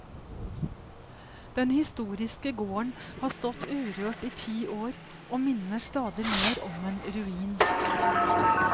Den historiske gården har stått urørt i ti år og minner stadig mer om en ruin.